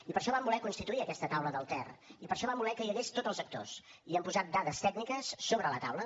i per això vam voler constituir aquesta taula del ter i per això vam voler que hi hagués tots els actors i hi hem posat dades tècniques sobre la taula